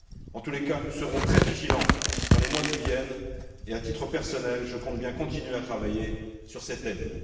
En tout cas, nous serons très vigilants dans les mois qui viennent et, à titre personnel, je compte bien continuer à travailler sur ces thèmes.